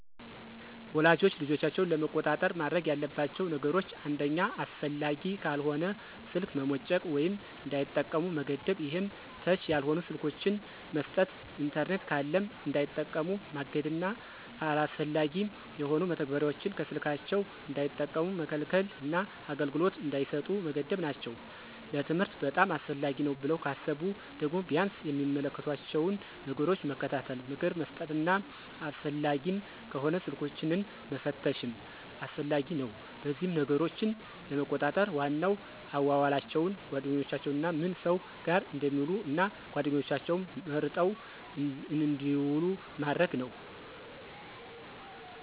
ወላጆች ልጆቻቸውን ለመቆጣጠር ማድረግ ያለባቸው ነገሮች አንደኛ አስፈላጊ ካልሆነ ስልክ መሞጨቅ ወይም እንዳይጠቀሙ መገደብ ይሄም ተች ያልሆኑ ስልኮችን መስጠት። ኢንተርኔት ካለም እንዳይጠቀሙ ማገድና አላስፈላጊ የሆኑ መተግበሪያዎችን ከስልካቸው እንዳይጠቀሙ መከልከልና አገልግሎት እንዳይሰጡ መገደብ ናቸው። ለትምህርት በጣም አስፈላጊ ነው ብለው ካሰቡ ደግሞ ቢያንስ የሚመለከቷቸውን ነገሮች መከታተል፣ ምክር መስጠትና አስፈላጊም ከሆነ ስልኮችንን መፈተሽም አስፈላጊ ነው። በዚህም ነገሮችን ለመቆጣጠር ዋናው አዋዋላቸውን፣ ጓደኛቸውንና ምን ሰው ጋር እንደሚውሉ እና ጓደኛቸውም መርጠው እንድውሉ ማድረግ ነው።